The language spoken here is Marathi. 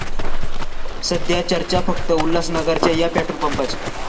सध्या चर्चा फक्त उल्हासनगरच्या 'या' पेट्रोल पंपाची!